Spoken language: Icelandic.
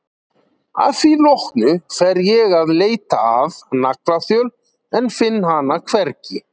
Að því loknu fer ég að leita að naglaþjöl en finn hana hvergi.